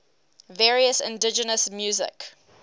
various indigenous music